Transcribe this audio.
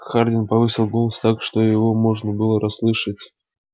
хардин повысил голос так чтобы его можно было расслышать